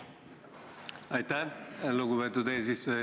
Aitäh, lugupeetud eesistuja!